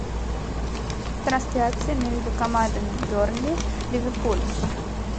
трансляция между командами бернли ливерпуль